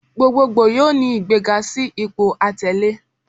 Gbogboogbo yoo ni igbega si ipo atẹle